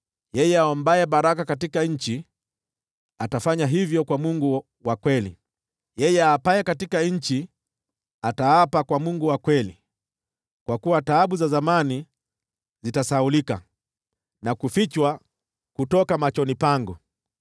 Yeye aombaye baraka katika nchi atafanya hivyo kwa Mungu wa kweli; yeye aapaye katika nchi ataapa kwa Mungu wa kweli. Kwa kuwa taabu za zamani zitasahaulika na kufichwa kutoka machoni pangu.